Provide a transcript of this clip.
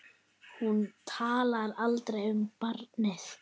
Hún talar aldrei um barnið.